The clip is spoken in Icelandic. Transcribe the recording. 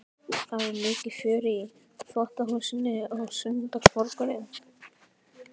Það var mikið fjör í þvottahúsinu á sunnudagsmorgnum.